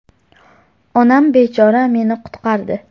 Onam bechora meni qutqardi.